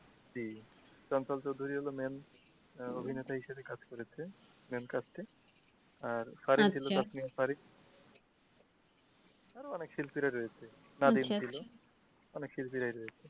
জি main আহ অভিনেতা হিসেবে কাজ করেছে main কাজটি আর আরও অনেক শিল্পীরা রয়েছে ছিলো অনেক শিল্পীরাই রয়েছে।